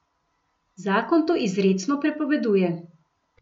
Zakon to izrecno prepoveduje.